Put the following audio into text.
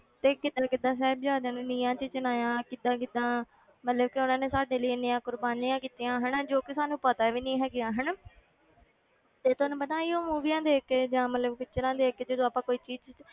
ਤੇ ਕਿੱਦਾਂ ਕਿੱਦਾਂ ਸਾਹਿਬਜ਼ਾਦਿਆਂ ਨੂੰ ਨੀਹਾਂ ਵਿੱਚ ਚਿਣਾਇਆ, ਕਿੱਦਾਂ ਕਿੱਦਾਂ ਮਤਲਬ ਕਿ ਉਹਨਾਂ ਨੇ ਸਾਡੇ ਲਈ ਇੰਨੀਆਂ ਕੁਰਬਾਨੀਆਂ ਕੀਤੀਆਂ ਹਨਾ ਜੋ ਕਿ ਸਾਨੂੰ ਪਤਾ ਵੀ ਨੀ ਹੈਗੀਆਂ ਹਨਾ ਤੇ ਤੁਹਾਨੂੰ ਪਤਾ ਉਹ movies ਦੇਖ ਕੇ ਜਾਂ ਮਤਲਬ pictures ਦੇਖ ਕੇ ਜਦੋਂ ਆਪਾਂ ਕੋਈ ਚੀਜ਼